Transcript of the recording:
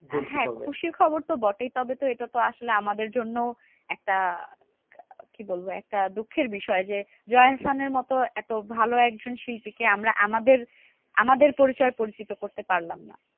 হ্যাঁ খুশির খবর তো বটেই, তবে এটা তো আসলে আমাদের জন্য একটা কি বলবো? একটা দুঃখের বিষয় যে, জয়া আহসানের মতো একটা ভালো একজন শিল্পী কে আমরা আমাদের আমাদের পরিচয়ে পরিচিত করতে পারলাম না।